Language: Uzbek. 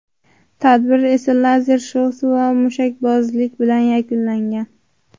Tadbir esa lazer shousi va mushakbozlik bilan yakunlangan.